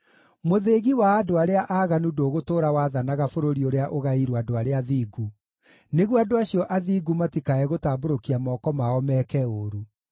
Mũthĩgi wa andũ arĩa aaganu ndũgũtũũra wathanaga bũrũri ũrĩa ũgaĩirwo andũ arĩa athingu, nĩguo andũ acio athingu matikae gũtambũrũkia moko mao meeke ũũru.